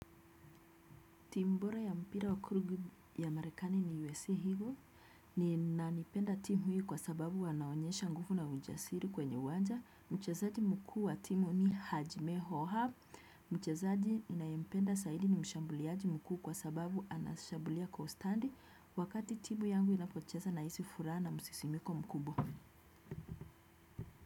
Tim bora ya mpira wakurugi ya Marekani ni USA hivyo, ni nanipenda timu hii kwa sababu wanaonyesha nguvu na ujasiri kwenye uwanja. Mchezaji mkuu wa timu ni Hajime Hoha, mchezaji ninayempenda zaidi ni mshambuliaji mkuu kwa sababu anashambulia kwa ustandi wakati timu yangu inapocheza nahisi furaha na msisimiko mkubwa.